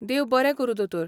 देव बरें करूं दोतोर.